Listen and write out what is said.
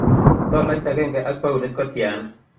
Tolait agenge ang' paunit kotiana